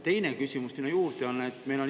Teine küsimus siia juurde on see.